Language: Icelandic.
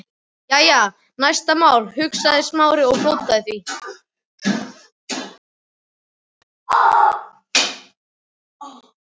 Jæja, næsta mál, hugsaði Smári, og blótaði því hlut